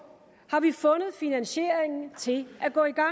har vi fundet finansiering til at gå i gang